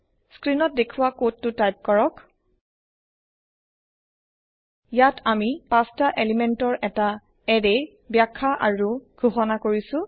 স্ক্ৰীনত দেখুৱা কোডতু টাইপ কৰক ইয়াত আমি ৫টা এলিমেন্টৰ এটা এৰেৰবাখ্যা আৰু ঘোষনা কৰিছো